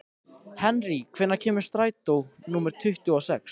Henrý, hvenær kemur strætó númer tuttugu og sex?